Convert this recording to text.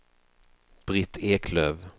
Britt Eklöf